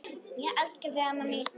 Ég elska þig amma mín.